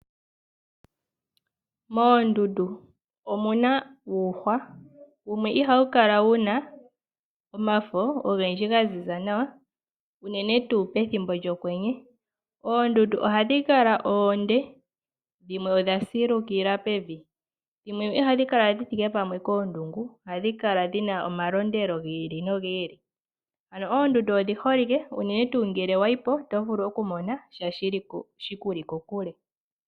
Moondundu omuna uuhwa, wumwe ihawu kala wuna omafo ogendji ga ziza nawa, unene tuu pethimbo lyokwenye. Oondundu ohadhi kala oonde, dhimwe odha silukila pevi, dhimwe ihadhi kala dhi thike pamwe koondungu ohadhi kala dhina omalondelo gi ili nogi ili. Ano oondundu odhi holike unene tuu ngele wayi po oto vulu oku mona sha shikuli kokule.